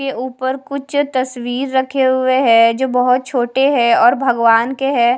के ऊपर कुछ तस्वीर रखे हुए हैं जो बहोत छोटे हैं और भगवान के हैं।